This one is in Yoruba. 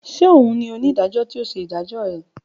Ṣe oun onidajọ ti o ṣe idajọ ẹ?